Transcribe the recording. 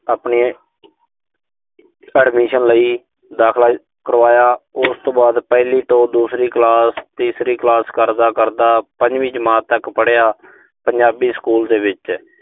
ਆਪਣੇ admission ਲਈ ਦਾਖਲਾ ਕਰਵਾਇਆ। ਉਸਤੋਂ ਬਾਅਦ ਪਹਿਲੀ ਤੋਂ ਦੂਸਰੀ ਕਲਾਸ, ਤੀਸਰੀ ਕਲਾਸ ਕਰਦਾ-ਕਰਦਾ ਪੰਜਵੀਂ ਜਮਾਤ ਤੱਕ ਪੜਿਆ। ਪੰਜਾਬੀ ਸਕੂਲ ਦੇ ਵਿੱਚ